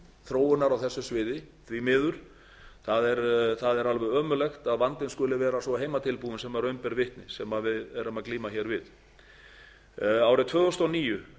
þróunar á þessu sviði því miður það er alveg ömurlegt að vandinn skuli vera svo heimatilbúinn sem raun ber vitni sem við erum að glíma við árið tvö þúsund og níu